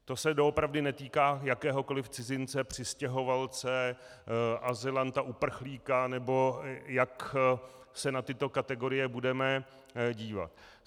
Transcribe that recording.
To se doopravdy netýká jakéhokoliv cizince, přistěhovalce, azylanta, uprchlíka, nebo jak se na tyto kategorie budeme dívat.